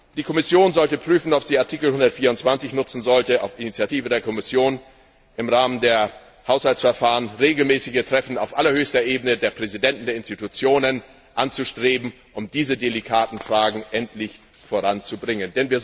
Die Kommission sollte prüfen, ob sie Artikel 124 nutzen sollte, auf Initiative der Kommission im Rahmen der Haushaltsverfahren regelmäßige Treffen auf allerhöchster Ebene der Präsidenten der Institutionen anzustreben, um diese delikaten Fragen endlich voranzubringen.